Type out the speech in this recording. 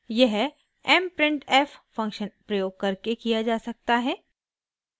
यह mprintf function प्रयोग करके किया जा सकता है